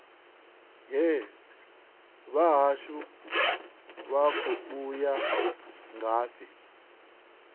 hee vhahashu vha khou ya ngafhi